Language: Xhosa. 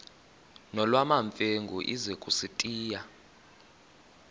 nolwamamfengu ize kusitiya